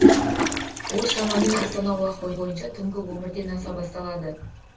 ол шамамен астана уақыты бойынша түнгі он бірден аса басталады